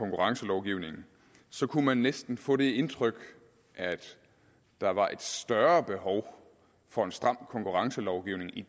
konkurrencelovgivningen kunne man næsten få det indtryk at der var et større behov for en stram konkurrencelovgivning i